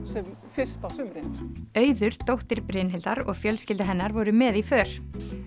fyrst á sumrin auður dóttir Brynhildar og fjölskylda hennar voru með í för